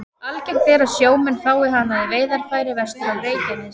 Algengt er að sjómenn fái hana í veiðarfæri vestur af Reykjanesi.